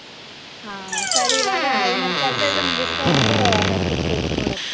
ಹಾ ಸರಿ ಇವಾಗ ಏನ್ ಆದ್ರೂ ಕೆಲ್ಸ ಇದ್ರೆ ಮುಗಿಸ್ಕೊಂಡು ಆಮೇಲ್ ಕುತ್ಕೊಹೋಗು ನೋಡಕೆ.